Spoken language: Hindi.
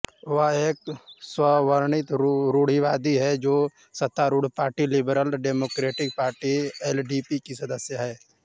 वह एक स्ववर्णित रूढ़िवादी है जो सत्तारूढ़ party Liberal Democratic Party LDP की सदस्य हैं